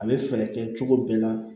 A bɛ fɛɛrɛ kɛ cogo bɛɛ la